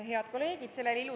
Head kolleegid!